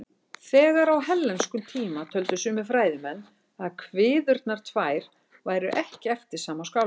Þegar á hellenískum tíma töldu sumir fræðimenn að kviðurnar tvær væru ekki eftir sama skáldið.